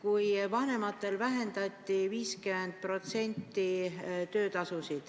Osal vanematel vähendati 50% töötasu.